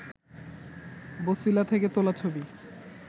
বছিলা থেকে তোলা ছবি